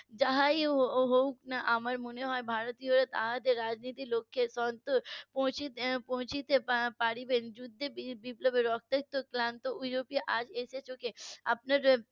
যেটাই হোক না আমার মনে হয় ভারত . পারিবেন যুদ্ধে বিপ্লবে অশেষ ক্লান্ত হয়েও আপনার